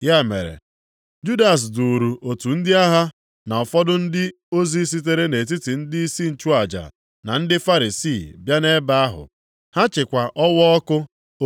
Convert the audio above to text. Ya mere, Judas duuru otu ndị agha, na ụfọdụ ndị ozi sitere nʼetiti ndịisi nchụaja na ndị Farisii bịa nʼebe ahụ. Ha chịkwa ọwaọkụ,